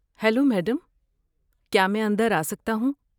Hello madam, کیا میں اندر آسکتا ہوں؟